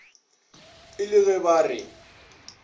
e le ge ba re